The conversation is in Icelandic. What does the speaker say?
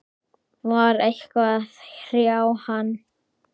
Var eitthvað að hrjá hann?